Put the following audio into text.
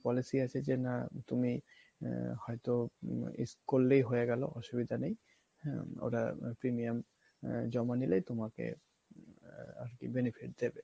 policy আছে যে না তুমি হয়তো use করলেই হয়ে গেলো অসুবিধা নাই ওরা premium আহ জমা নিলেই তোমাকে benefit দিবে